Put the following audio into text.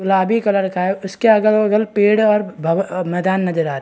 गुलाबी कलर का उसके बगल पेड़ है और भव मैदान नजर आ रहे है।